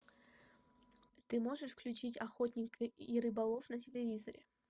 ты можешь включить охотник и рыболов на телевизоре